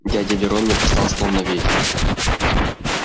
дядя верон не бросал слов на ветер